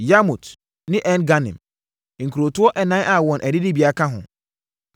Yarmut ne En-Ganim, nkurotoɔ ɛnan a wɔn adidibea ka ho.